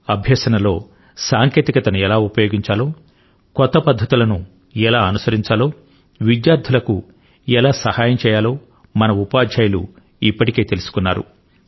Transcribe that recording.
అభ్యసనలో సాంకేతికత ను ఎలా ఉపయోగించాలో కొత్త పద్ధతులను ఎలా అనుసరించాలో విద్యార్థులకు ఎలా సహాయం చేయాలో మన ఉపాధ్యాయులు ఇప్పటికే తెలుసుకున్నారు